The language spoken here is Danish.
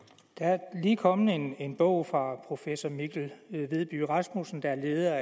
er lige kommet en bog fra professor mikkel vedby rasmussen der er leder